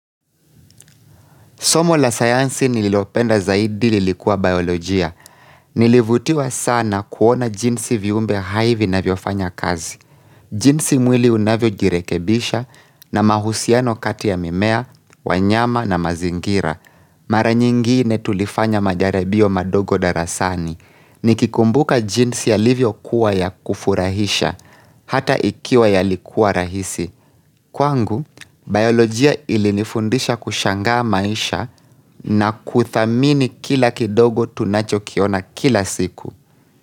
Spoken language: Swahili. Somo la sayansi nililopenda zaidi lilikuwa biolojia. Nilivutiwa sana kuona jinsi viumbe hai vinavyofanya kazi. Jinsi mwili unavyojirekebisha na mahusiano kati ya mimea, wanyama na mazingira. Mara nyingine tulifanya majaribio madogo darasani. Nikikumbuka jinsi yalivyokuwa ya kufurahisha, hata ikiwa yalikuwa rahisi. Kwangu, biolojia ilinifundisha kushangaa maisha na kuthamini kila kidogo tunachokiona kila siku.